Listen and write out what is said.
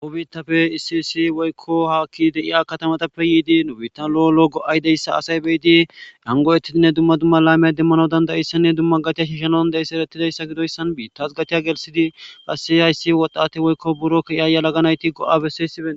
Nu bitape issi issi hakidi de'iya katamatape yidi nu bita lo'o lo'o go'a diyaysa asay be'idi nangoyetidine duma duma lamiya demanaw danda'yaysane duma gac'iya shishanaw danda'yaysane eretidaysa gidiyoysan bitas gac'c'iya gelsidi qasi haysi wodhate woyko biro Kiya yelaga nayti go'a beses.